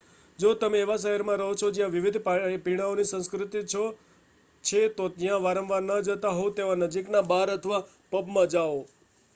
જો તમે એવા શહેરમાં રહો છો જ્યાં વિવિધ પીણાઓની સંસ્કૃતિ છે તો જ્યાં વારંવાર ના જતાં હોવ તેવા નજીકના બાર અથવા પબમાં જાઓ